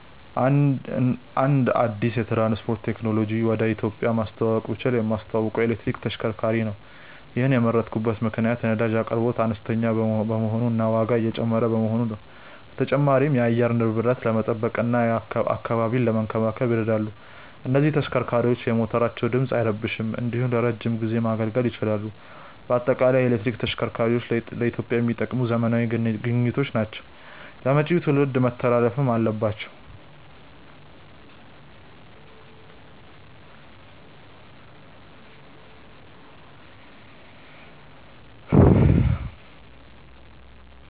አንድ አዲስ የትራንስፖርት ቴክኖሎጂን ወደ ኢትዮጵያ ማስተዋወቅ ብችል የማስተዋውቀው የኤሌክትሪክ ተሽከርካሪዎችን ነው። ይሔንን የመረጥኩበት ምክንያት የነዳጅ አቅርቦት አነስተኛ በመሆኑ እና ዋጋው እየጨመረ በመሆኑ ነው። በተጨማሪም የአየር ንብረትን ለመጠበቅ እና አካባቢን ለመንከባከብ ይረዳሉ። እነዚህ ተሽከርካሪዎች የሞተራቸው ድምፅ አይረብሽም እንዲሁም ለረዥም ጊዜ ማገልገል ይችላሉ። በአጠቃላይ የኤሌክትሪክ ተሽከርካሪዎች ለኢትዮጵያ የሚጠቅሙ ዘመናዊ ግኝቶች ናቸው ለመጪው ትውልድ መተላለፍም አለባቸው።